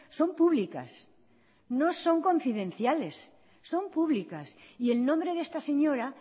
son públicas no son confidenciales son públicas y el nombre de esta señora